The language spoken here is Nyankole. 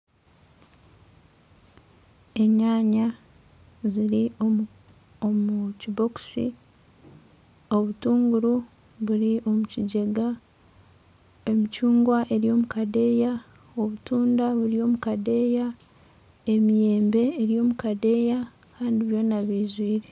Enyanya ziri omu kibokisi obutunguru buri omukigyega emicungwa eri omu kadeeya obutunda buri omu kadeeya emiyembe eri omu kadeeya Kandi byona byijwire